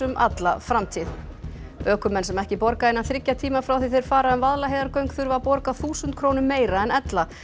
alla framtíð ökumenn sem ekki borga innan þriggja tíma frá því þeir fara um Vaðlaheiðargöng þurfa að borga þúsund krónum meira en ella